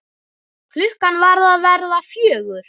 Klukkan var að verða fjögur.